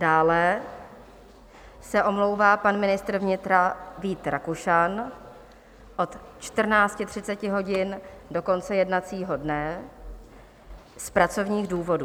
Dále se omlouvá pan ministr vnitra Vít Rakušan od 14.30 hodin do konce jednacího dne z pracovních důvodů.